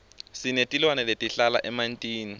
sinetilwane letihlala emantini